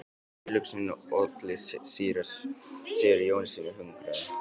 Tilhugsunin olli síra Sigurði Jónssyni hugarangri.